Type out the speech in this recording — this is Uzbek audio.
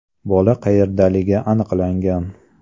Bola qayerdaligi aniqlangan.